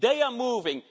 They are moving.